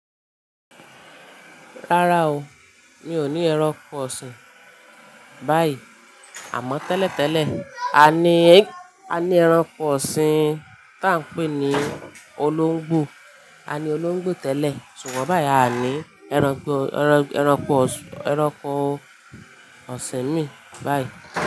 Rárá o, mi ò ní ẹranko ọ̀sìn báyìí. Àmọ́ tẹ́lẹ̀ tẹ́lẹ̀ a ní, a ní ẹranko ọ̀sìn tá ń pè ní olóńgbò, a ní olóńgbò tẹ́lẹ̀. Ṣugbọn báyìí a ní ẹranko, ẹranko, ẹranko ọ̀sìn mi báyìí.